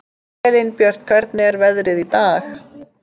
Elínbjört, hvernig er veðrið í dag?